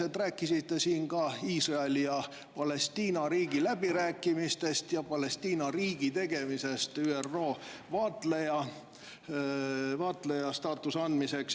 Te rääkisite siin ka Iisraeli ja Palestiina riigi läbirääkimistest ja Palestiina riigile ÜRO vaatleja staatuse andmisest.